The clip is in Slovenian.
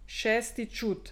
Šesti čut.